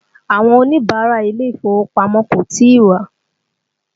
Àwọn Oníbàárà ilé ìfowópamọ́ kò tí ì wá